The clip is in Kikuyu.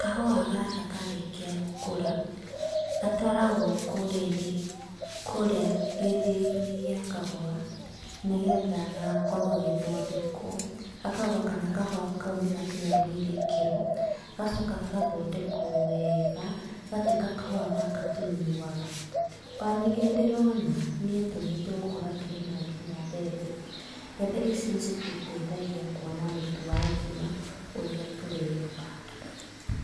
Kahũa gaka karĩkia gũkũra gatwaragũo kũrĩa-inĩ, kũrĩa gĩthĩi-inĩ gĩa kahũa nĩgetha gakorwo gagĩthondekwo, gakarorwo kana kahũa kau nĩgakinyanĩirie ikĩro, gagacoka gagathondekwo wega, gagatuĩka kahũa gaka tũnyuaga. Ona ningĩ nĩndĩrona, nĩetũmĩte gũkorwo akĩrĩma kinya mbembe. Mbembe ici nĩcitũteithagia kuona mũtu wa ngima ũrĩa tũrĩaga.